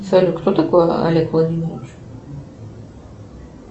салют кто такой олег владимирович